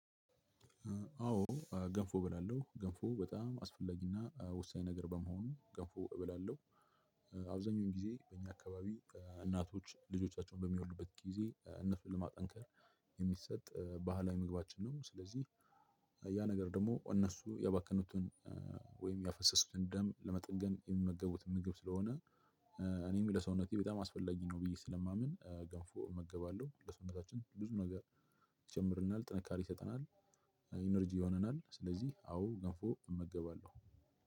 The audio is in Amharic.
አዎ ገንፎ እበላለሁ። ገንፎ በጣም አስፈላጊ እና ወሳኝ ነገር በመሆኑ ገንፎ እበላለሁ። አብዛኛውን ጊዜ በእኛ አካባቢ እናቶች ልጆቻቸውን በሚወዱበት ጊዜ እነሱን ለማጠንከር የሚሰጥ ባህላዊ ምግባችን ነው። ስለዚህ ያ ነገር ደግሞ እነሱ ያባከኑትን ወይም ያፈሰሱትን ደም ለመጠንገን የሚመገቡት ምግብ ስለሆነ እኔም ለሰውነቴ በጣም አስፈላጊ ነው ብዬ ስለማምን ገንፎ እመገባለሁ። ለሰውነታችን ብዙ ነገር ይጨምርልና። ጥንካሬ ይሰጠናል። ኢነርጂ ይሆናል። ስለዚህ አዎ ገፎ እመገባለሁ።